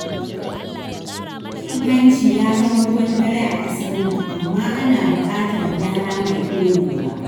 Cin hanci ya zama ruwan dare a ƙasar nan, amma ana bukatar gyara mai dorewa.